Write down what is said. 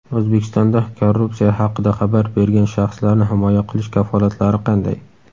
O‘zbekistonda korrupsiya haqida xabar bergan shaxslarni himoya qilish kafolatlari qanday?.